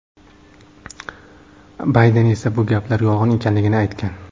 Bayden esa bu gaplar yolg‘on ekanligini aytgan.